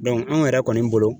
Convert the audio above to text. anw yɛrɛ kɔni bolo.